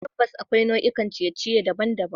Tabbas, akwai nau'ikan ciye-ciye daban-daban.